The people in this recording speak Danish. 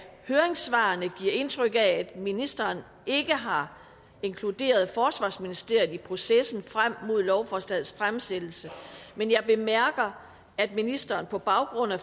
høringssvarene giver mig indtryk af at ministeren ikke har inkluderet forsvarsministeriet i processen frem mod lovforslagets fremsættelse men jeg bemærker at ministeren på baggrund af